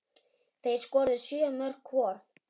Þeir skoruðu sjö mörk hvor.